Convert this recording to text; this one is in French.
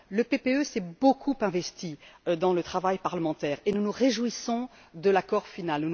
Le groupe PPE s'est beaucoup investi dans le travail parlementaire, et nous nous réjouissons de l'accord final.